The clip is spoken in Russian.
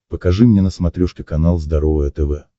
покажи мне на смотрешке канал здоровое тв